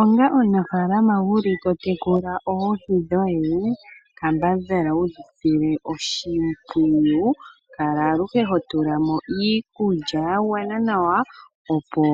Onga omunafaalama wuli to tekula oohi dhoye kambadhala wu isile oshimpwiyu kala aluhe ho tulamo iikulya yagwana nawa opo